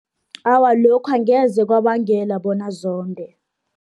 Awa, lokho angeze kwabangela bona zonde.